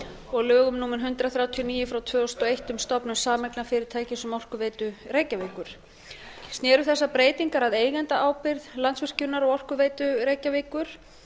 og lögum númer hundrað þrjátíu og níu tvö þúsund og eitt um stofnun sameignarfyrirtækis um orkuveitu reykjavíkur sér þessar breytingar að eigendaábyrgð landsvirkjunar og orkuveitu reykjavíkur